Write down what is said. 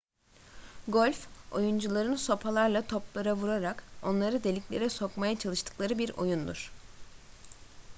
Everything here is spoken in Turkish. golf oyuncuların sopalarla toplara vurarak onları deliklere sokmaya çalıştıkları bir oyundur